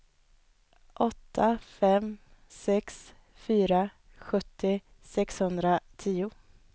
åtta fem sex fyra sjuttio sexhundratio